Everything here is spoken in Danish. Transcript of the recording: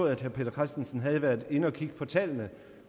at herre peter christensen havde været inde at kigge på tallene